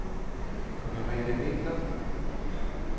Merete Winther